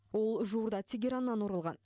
ол жуырда тегераннан оралған